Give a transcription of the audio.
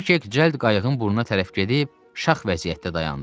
Kvikik cəld qayığın burnuna tərəf gedib şax vəziyyətdə dayandı.